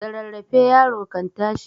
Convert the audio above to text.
Da rarraafe yaro kan tashi.